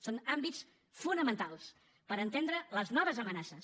són àmbits fonamentals per entendre les noves amenaces